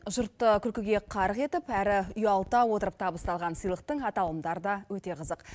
жұртты күлкіге қарқ етіп әрі ұялта отырып табысталған сыйлықтың аталымдары да өте қызық